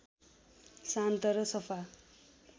शान्त र सफा